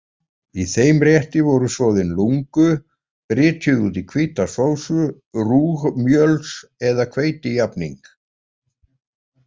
Í þeim rétti voru soðin lungu brytjuð út í hvíta sósu, rúgmjöls- eða hveitijafning.